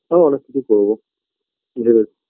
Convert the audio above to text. আরো অনেক কিছু করব নিজেদের